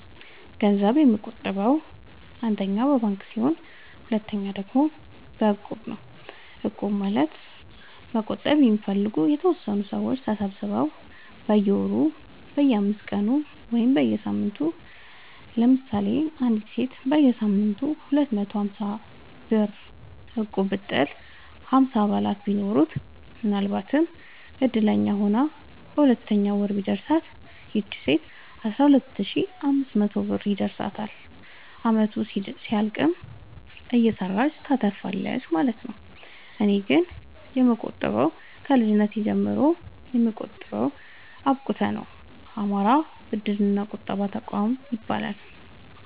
ገንዘብ የምቆ ጥበው አንደኛ በባንክ ሲሆን ሁለተኛ ደግሞ በእቁብ ነው እቁብ ማለት መቁጠብ የሚፈልጉ የተወሰኑ ሰዎች ተሰባስበው በየወሩ በየአስራአምስት ቀኑ ወይም በየሳምንቱ ለምሳሌ አንዲት ሴት በየሳምንቱ ሁለት መቶ ሀምሳብር እቁብጥል ሀምሳ አባላት ቢኖሩት ምናልባትም እድለኛ ሆና በሁለተኛው ወር ቢደርሳት ይቺ ሴት አስራሁለት ሺ አምስት መቶ ብር ይደርሳታል አመቱ እስኪያልቅ እየሰራች ታተርፋለች ማለት ነው። እኔ ግን የምቆጥበው ከልጅነቴ ጀምሮ የምጠቀመው አብቁተ ነው። አማራ ብድር እና ቁጠባ ጠቋም ይለያል።